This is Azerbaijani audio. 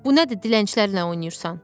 Bu nədir dilənçilərlə oynayırsan?